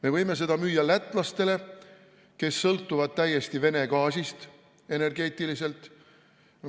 Me võime seda müüa lätlastele, kes sõltuvad energeetiliselt täiesti Vene gaasist.